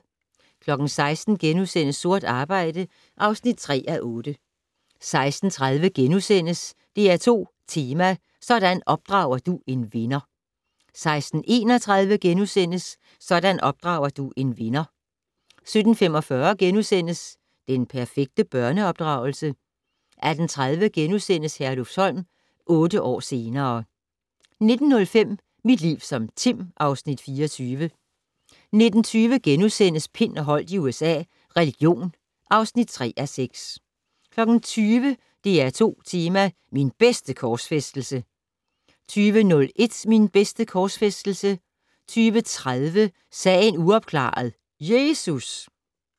16:00: Sort arbejde (3:8)* 16:30: DR2 Tema: Sådan opdrager du en vinder * 16:31: Sådan opdrager du en vinder * 17:45: Den perfekte børneopdragelse? * 18:30: Herlufsholm - otte år senere ...* 19:05: Mit liv som Tim (Afs. 24) 19:20: Pind og Holdt i USA - religion (3:6)* 20:00: DR2 Tema: Min bedste korsfæstelse 20:01: Min bedste korsfæstelse 20:30: Sagen uopklaret - Jesus!